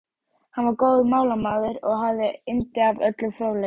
Hann var góður málamaður og hafði yndi af öllum fróðleik.